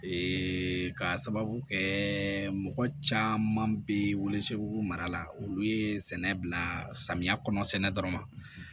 Ee ka sababu kɛ mɔgɔ caman bɛ welesebugu mara la olu ye sɛnɛ bila samiya kɔnɔ sɛnɛ dɔrɔn ma